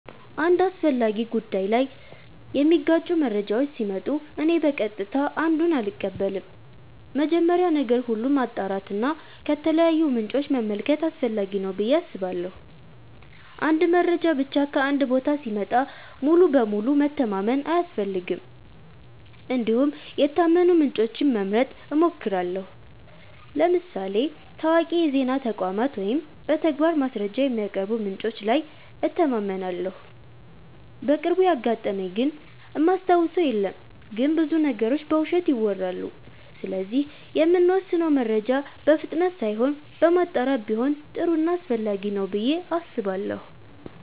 አንድ አስፈላጊ ጉዳይ ላይ የሚጋጩ መረጃዎች ሲመጡ እኔ በቀጥታ አንዱን አልቀበልም። መጀመሪያ ነገር ሁሉ ማጣራት እና ከተለያዩ ምንጮች መመልከት አስፈላጊ ነው ብዬ አስባለሁ። አንድ መረጃ ብቻ ከአንድ ቦታ ሲመጣ ሙሉ በሙሉ መተማመን አያስፈልግም እንዲሁም የታመኑ ምንጮችን መምረጥ እሞክራለሁ ለምሳሌ ታዋቂ የዜና ተቋማት ወይም በተግባር ማስረጃ የሚያቀርቡ ምንጮች ላይ እተማመናለሁ። በቅርቡ ያጋጠመኝ ግን እማስታውሰው የለም ግን ብዙ ነገሮች በውሸት ይወራሉ ስለዚህ የምንወስነው መረጃ በፍጥነት ሳይሆን በማጣራት ቢሆን ጥሩ ና አስፈላጊ ነው ብዬ አስባለሁ።